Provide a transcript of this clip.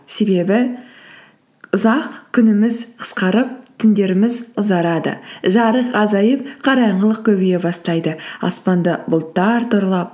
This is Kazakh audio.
себебі ұзақ күніміз қысқарып түндеріміз ұзарады жарық азайып қараңғылық көбейе бастайды аспанды бұлттар торлап